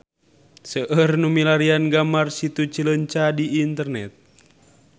Seueur nu milarian gambar Situ Cileunca di internet